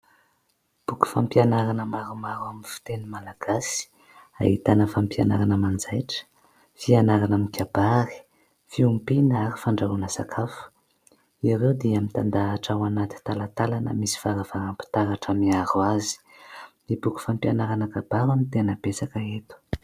Boky fampianarana maromaro amin'ny fiteny Malagasy, ahitana fampianarana manjaitra, fianarana mikabary, fiompina ary fandrahoana sakafo. Ireo dia mitandahatra ao anaty talantalana misy varavaram-pitaratra miaro azy ; ny boky fampianarana kabary no tena ampiasaiko eto.